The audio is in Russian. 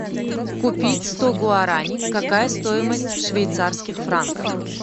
купить сто гуарани какая стоимость в швейцарских франках